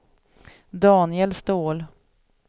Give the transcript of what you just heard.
Daniel Ståhl